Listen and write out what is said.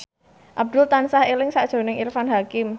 Abdul tansah eling sakjroning Irfan Hakim